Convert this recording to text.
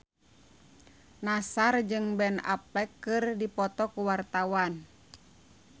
Nassar jeung Ben Affleck keur dipoto ku wartawan